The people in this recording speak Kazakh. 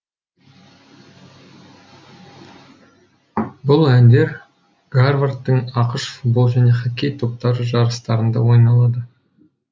бұл әндер гарвардтың ақш футбол және хоккей топтары жарыстарында ойлады